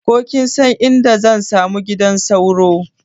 Ko kinsan inda zan samu gidan sauro?